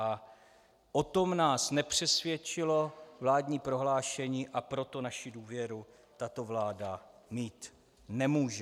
A o tom nás nepřesvědčilo vládní prohlášení, a proto naši důvěru tato vláda mít nemůže.